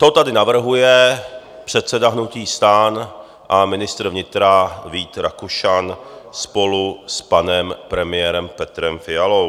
To tady navrhuje předseda hnutí STAN a ministr vnitra Vít Rakušan spolu s panem premiérem Petrem Fialou.